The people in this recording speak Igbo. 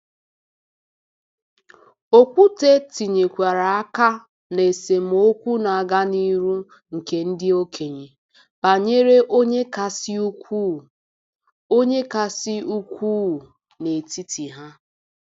Okwute tinyekwara aka na esemokwu na-aga n'ihu nke ndị okenye banyere onye kasị ukwuu onye kasị ukwuu n'etiti ha.